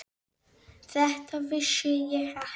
Þetta vissi ég ekki.